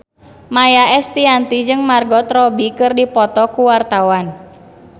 Maia Estianty jeung Margot Robbie keur dipoto ku wartawan